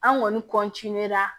An kɔni